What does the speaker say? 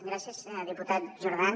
gràcies diputat jordan